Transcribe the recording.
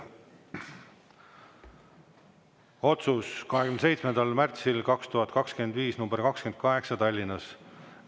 Otsus nr 28 27. märtsil 2025 Tallinnas.